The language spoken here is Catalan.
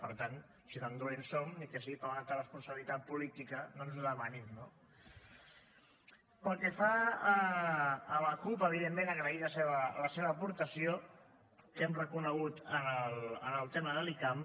per tant si tan dolents som ni que sigui per responsabilitat política no ens ho demanin no pel que fa a la cup evidentment agrair la seva aportació que hem reconegut en el tema de l’icam